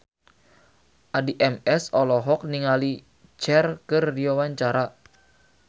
Addie MS olohok ningali Cher keur diwawancara